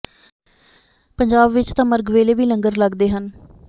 ਪੰਜਾਬ ਵਿੱਚ ਤਾਂ ਮਰਗ ਵੇਲੇ ਵੀ ਲੰਗਰ ਲੱਗਦੇ ਹਨ